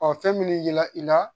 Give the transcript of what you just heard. fɛn min bɛ yira i la